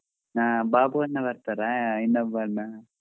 ಹಾ ಬಾಬು ಅಣ್ಣಾ ಬರ್ತಾರ ಇನ್ನೊಬ್ಬ ಅಣ್ಣಾ.